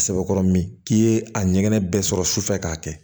A sɛbɛkɔrɔ min k'i ye a ɲɛgɛn bɛɛ sɔrɔ sufɛ k'a kɛ